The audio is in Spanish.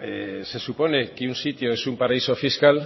se supone que un sitio es un paraíso fiscal